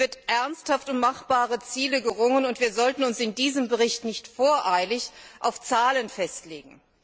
Hier wird ernsthaft um machbare Ziele gerungen, und wir sollten uns in diesem Bericht nicht voreilig auf Zahlen festlegen.